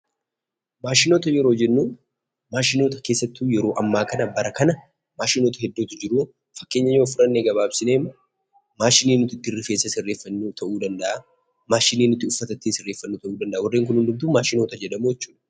Maashinoota yeroo jennu maashinoota keessattuu yeroo ammaa kana, bara kana maashinoota hedduutu jiru. Fakkeenya yoo fudhanne gabaabsineema, maashinii nuti ittiin rifeensa sirreeffannu ta'uu danda'a, maashinii nuti ittiin uffata sirreeffannu ta'uu danda'a warreen kun hundumtuu maashinoota jedhamu jechuudha.